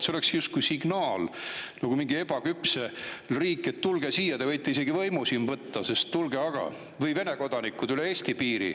See oleks justkui signaal mingilt ebaküpselt riigilt, et tulge siia, te võite isegi võimu siin võtta, tulge aga, kas või Vene kodanikud, üle Eesti piiri.